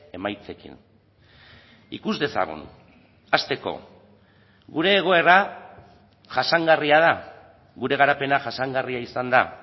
emaitzekin ikus dezagun hasteko gure egoera jasangarria da gure garapena jasangarria izan da